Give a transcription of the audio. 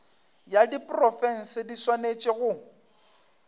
ya diprofense di swanetše go